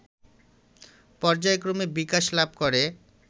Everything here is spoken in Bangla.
পর্যায়ক্রমে বিকাশ লাভ করে